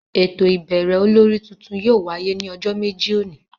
Éto ibẹrẹ ólòri tuntun yóò wàye ni ọjọ meji oni.